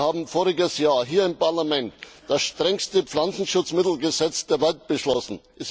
Wir haben voriges Jahr hier im Parlament das strengste Pflanzenschutzmittelgesetz der Welt beschlossen.